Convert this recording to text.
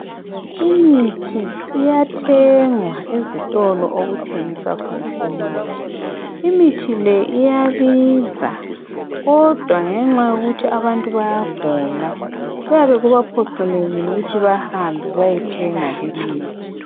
Imithi iyathengwa ezitolo okuthengiswa khona imithi. Imithi le iyabiza, kodwa ngenxa yokuthi abantu bayagula kuyabe kubaphoqelekile ukuthi bahambe bayethenga limithi.